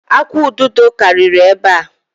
Akwụ̀ ududo karịrị ebe a.